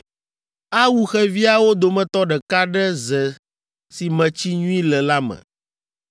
Awu xeviawo dometɔ ɖeka ɖe ze si me tsi nyui le la me.